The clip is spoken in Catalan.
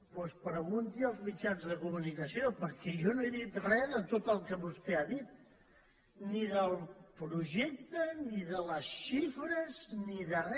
doncs pregunti ho als mitjans de comunicació perquè jo no he dit re de tot el que vostè ha dit ni del projecte ni de les xifres ni de re